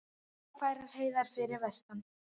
Ófærar heiðar fyrir vestan